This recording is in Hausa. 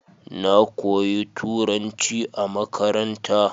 Na koyi Turnaci a makaranta.